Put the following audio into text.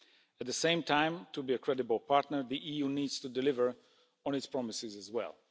At the same time, to be a credible partner, the EU needs to deliver on its promises as well.